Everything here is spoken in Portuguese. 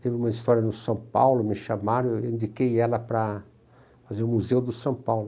Teve uma história no São Paulo, me chamaram, eu indiquei ela para fazer o Museu do São Paulo.